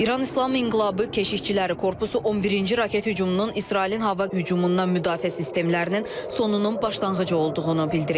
İran İslam İnqilabı Keşikçiləri Korpusu 11-ci raket hücumunun İsrailin hava hücumundan müdafiə sistemlərinin sonunun başlanğıcı olduğunu bildirib.